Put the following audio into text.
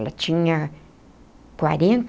Ela tinha quarenta